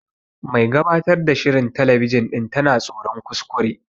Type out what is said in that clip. Mai gabatar ta shirin telebijin ɗin tana tsoron kuskure.